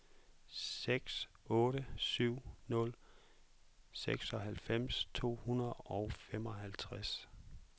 seks otte syv nul seksoghalvfems to hundrede og femoghalvtreds